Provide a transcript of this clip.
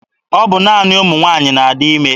Ọ bụ naanị ụmụ nwaanyị na-adị ime.